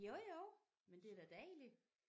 Jo jo men det da dejligt